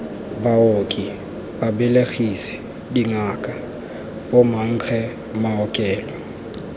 baoki babelegisi dingaka bomankge maokelo